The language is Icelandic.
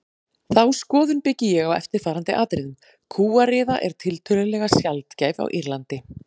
Þá skoðun byggi ég á eftirfarandi atriðum: Kúariða er tiltölulega sjaldgæf á Írlandi.